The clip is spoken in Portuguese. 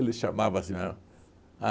Ele chamava assim ahn.